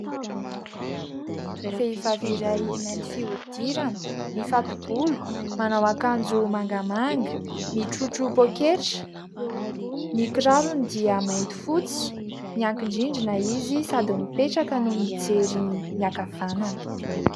Vehivavy iray mainty fihodirana, mifato-bolo, manao akanjo mangamanga, mitrotro poketra, ny kirarony dia mainty fotsy, miankin-drindrina izy sady mipetraka no mijery miakavanana.